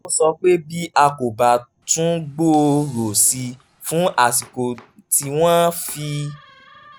ó sọ pé bí a kò bá tún gbòòrò sí i fún àsìkò tí wọ́n fi